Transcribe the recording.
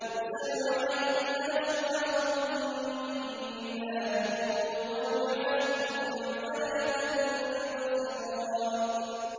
يُرْسَلُ عَلَيْكُمَا شُوَاظٌ مِّن نَّارٍ وَنُحَاسٌ فَلَا تَنتَصِرَانِ